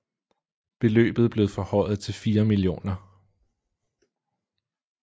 Beløbet blev forhøjet til 4 mio